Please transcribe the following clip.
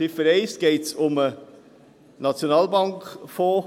In Ziffer 1 geht es um den Nationalbankfonds.